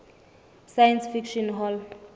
science fiction hall